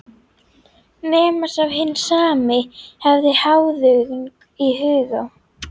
Nema sá hinn sami hefði háðung í huga.